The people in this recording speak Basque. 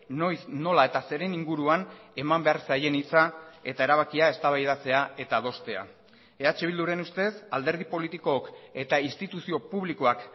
noiz nola eta zeren inguruan eman behar zaien hitza eta erabakia eztabaidatzea eta adostea eh bilduren ustez alderdi politikook eta instituzio publikoak